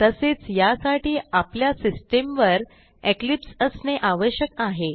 तसेच यासाठी आपल्या सिस्टीमवर इक्लिप्स असणे आवश्यक आहे